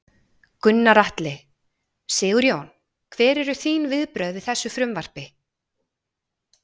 Gunnar Atli: Sigurjón, hver eru þín viðbrögð við þessu frumvarpi?